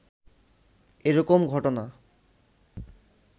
এরকম ঘটনা